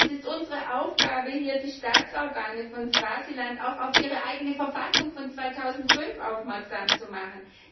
Es ist unsere Aufgabe, die Staatsorgane von Swasiland auch auf ihre eigene Verfassung von 2005 aufmerksam zu machen.